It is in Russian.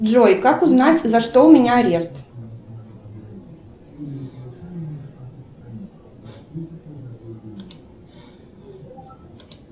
джой как узнать за что у меня арест